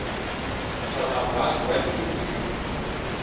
kgotsa moagi wa leruri mo